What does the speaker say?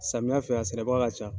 Samiya fɛ a sɛnɛbaga ka ca.